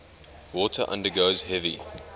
water undergoes heavy